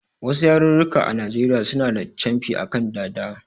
Wasu yarurruka a Najeriya suna da camfi a kan dada